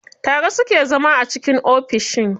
Tare suke zama a ciki ofishin.